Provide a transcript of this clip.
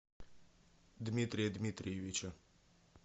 дмитрия дмитриевича